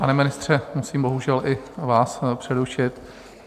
Pane ministře, musím bohužel i vás přerušit.